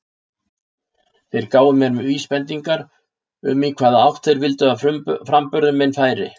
Þeir gáfu mér vísbendingar um í hvaða átt þeir vildu að framburður minn færi.